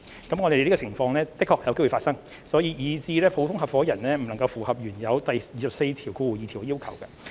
我們認同這種情況在現實中有可能發生，以致普通合夥人不能符合原有第242條的要求。